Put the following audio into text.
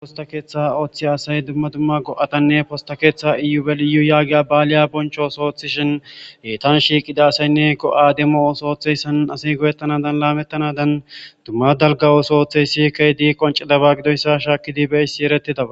Posta keeththa ooththi asay dumma dumma go'atanne posta keeththa iubeliyu yaagiya baaliya bonchos oothishin heetan shiiqida asaynne ko aademosooththeyssan asiy goyettanadan laamettanadan dumma dalgawoso ooththey siikay dii qonci daba gidoyssa shaakidi beissi eretidaba.